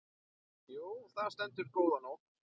Jú, þar stendur góða nótt.